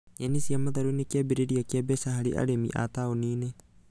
Nyeni cia matharũ nĩ kĩambĩrĩria kĩa mbeca harĩ arĩmi a taũni-inĩ